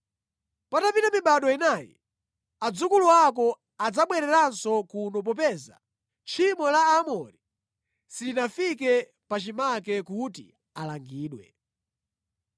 Patapita mibado inayi, adzukulu ako adzabwereranso kuno popeza tchimo la Aamori silinafike pachimake kuti alangidwe.”